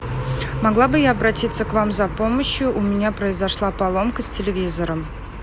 могла бы я обратиться к вам за помощью у меня произошла поломка с телевизором